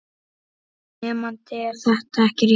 Nemandi: Er þetta ekki rétt?